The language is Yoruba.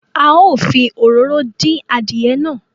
A ó fi òróró dín adìẹ náà